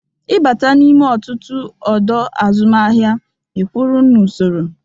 Ịbata n'ime ọtụtụ ọdọ azụmahịa ikwụrụ n'usoro.